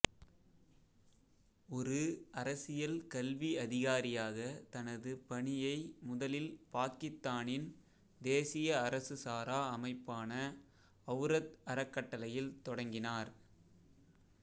ஒரு அரசியல் கல்வி அதிகாரியாக தனது பணியை முதலில் பாக்கித்தானின் தேசிய அரசு சாரா அமைப்பான அவுரத் அறக்கட்டளையில் தொடங்கினார்